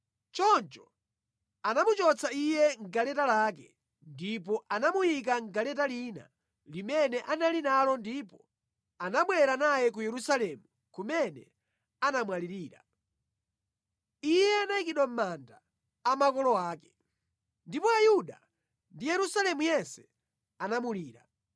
Choncho anamuchotsa iye mʼgaleta lake, ndipo anamuyika mʼgaleta lina limene anali nalo ndipo anabwera naye ku Yerusalemu kumene anamwalirira. Iye anayikidwa mʼmanda a makolo ake. Ndipo Ayuda ndi Yerusalemu yense anamulira.